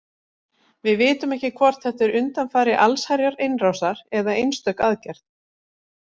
Við vitum ekki hvort þetta er undanfari allsherjarinnrásar eða einstök aðgerð.